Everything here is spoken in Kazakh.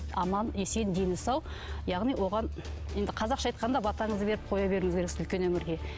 аман есен дені сау яғни оған енді қазақша айтқанда батаңызды беріп қоя беруіңіз керексіз үлкен өмірге